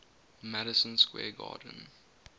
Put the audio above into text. madison square garden